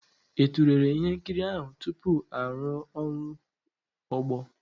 Ị tụlere ihe nkiri ahụ tupu arụ ọrụ ogbo?